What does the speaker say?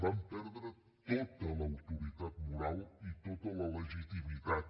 van perdre tota l’autoritat moral i tota la legitimitat